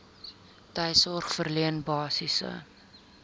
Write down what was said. tuissorg verleen basiese